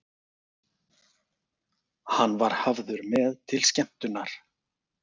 Hann var hafður með til skemmtunar.